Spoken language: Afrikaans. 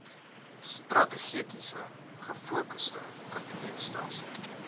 strategies gefokusde kabinetstelsel